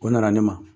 O nana ne ma